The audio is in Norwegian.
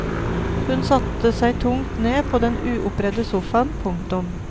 Han satte seg tungt ned på den uoppredde sofaen. punktum